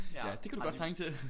Ja det kan du godt trænge til!